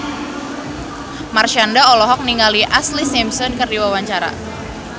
Marshanda olohok ningali Ashlee Simpson keur diwawancara